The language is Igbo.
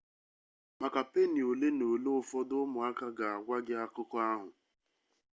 maka peeni ole na ola ụfọdụ ụmụaka ga-agwa gị akụkọ ahụ